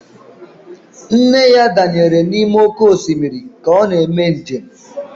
Nne ya danyere n'ime oké osimiri ka ọ na-eme njem